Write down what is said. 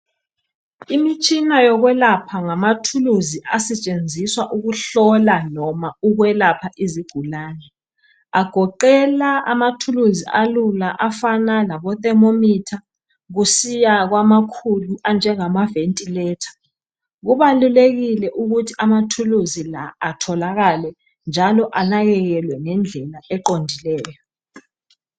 Imitshina yokwelapha ngamathuluzi asetshenziswa ukuhlola noma ukwelapha izigulani agoqela amathuluzi alula afana labo thermometer kusiya kwamakhulu anjengama ventilator .Kubalulekile ukuthi amathuluzi la atholakale njalo anakekelwe ngendlela eqondileyo